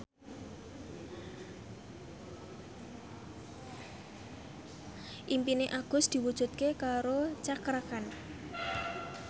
impine Agus diwujudke karo Cakra Khan